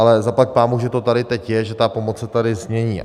Ale zaplať Pánbůh, že to tady teď je, že ta pomoc se tady změní.